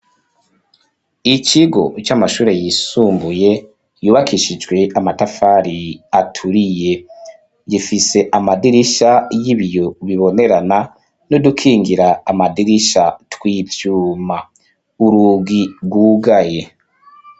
Ikigo c'amashure yisumbuye yubakishijwe amatafari aturiye gifise amadirisha y'ibiyo bibonerana no dukingira amadirisha tw'ivyuma urugi rwugaye.